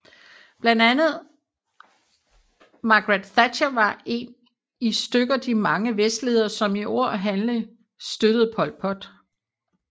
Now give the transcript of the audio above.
Blandt andre Margaret Thatcher var en i stykker de mange vestledere som i ord og handling støttede Pol Pot